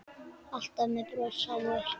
Alltaf með bros á vör.